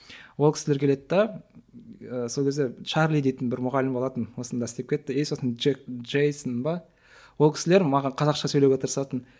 о кісілер келеді де сол кезде чарли дейтін бір мұғалім болатын осында істеп кетті и сосын джек джейсон ба ол кісілер маған қазақша сөйлеуге тырысатын